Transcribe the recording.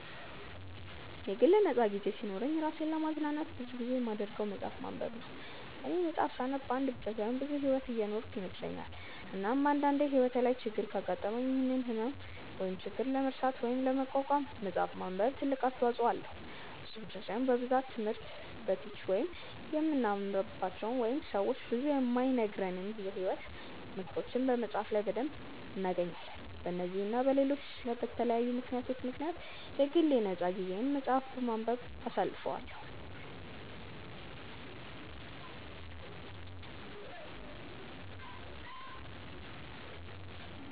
የግል ነፃ ጊዜ ሲኖረኝ እራሴን ለማዝናናት ብዙ ጊዜ የማደርገው መፅሐፍ ማንበብ ነው፦ እኔ መፅሐፍ ሳነብ አንድ ብቻ ሳይሆን ብዙ ሕይወት የኖርኩ ይመስለኛል፤ እናም አንድ አንዴ ሕይወቴ ላይ ችግር ካጋጠመኝ ያንን ህመም ወይም ችግር ለመርሳት ወይም ለመቋቋም መፅሐፍ ማንበብ ትልቅ አስተዋጽኦ አለው፤ እሱ ብቻ ሳይሆን በብዛት ትምህርት በቲች ውስጥ የማንማራቸው ወይንም ሰው ብዙ የማይነግረንን የሕይወት ምክሮችን መፅሐፍ ላይ በደንብ እናገኛለን፤ በነዚህ እና በለሎች በተለያዩ ምክንያቶች ምክንያት የግል የ ነፃ ጊዜየን መፅሐፍ በማንበብ አሳልፈዋለው።